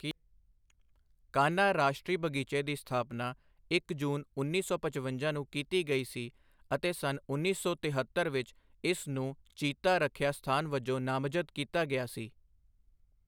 ਕਾਨ੍ਹਾ ਰਾਸ਼ਟਰੀ ਬਗ਼ੀਚੇ ਦੀ ਸਥਾਪਨਾ ਇੱਕ ਜੂਨ ਉੱਨੀ ਸੌ ਪਚਵੰਜਾ ਨੂੰ ਕੀਤੀ ਗਈ ਸੀ ਅਤੇ ਸੰਨ ਉੱਨੀ ਸੌ ਤਿਹੱਤਰ ਵਿੱਚ ਇਸ ਨੂੰ ਚੀਤਾ ਰੱਖਿਆ ਸਥਾਨ ਵਜੋਂ ਨਾਮਜ਼ਦ ਕੀਤਾ ਗਿਆ ਸੀ।